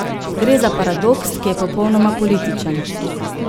Gre za paradoks, ki je popolnoma političen.